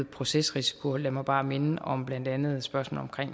procesrisiko lad mig bare minde om blandt andet spørgsmålet